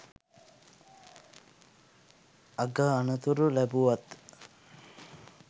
අග තනතුරු ලැබුවත්